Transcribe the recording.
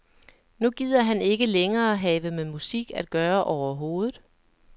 Nu gider han ikke længere have med musik at gøre overhovedet.